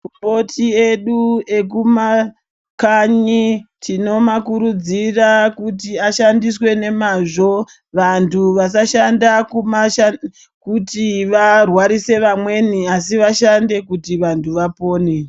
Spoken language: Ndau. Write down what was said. Makomnoti edu ekumakhanyi tinomakuridzira kuthi ashandiswe nemazvo vanthu vasamashanda kumashandisa kuthi varwarise vamweni asi vashande kuti vanthu vapone.